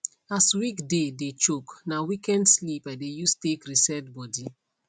as weekday dey choke na weekend sleep i dey use take reset body